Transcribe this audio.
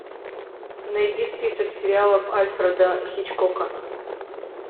найди список сериалов альфреда хичкока